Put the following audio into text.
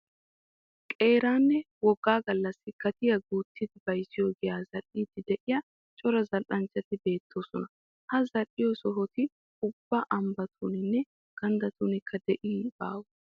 Qeeraanne woggaa gallassi gatiya guuttidi bayizziyo giyaa zal'iiddi diya cora zal'anchchati beettoosona. Ha zal'iyo sohoti ubba ambbatuninne ganddatunkka de'iyye baawe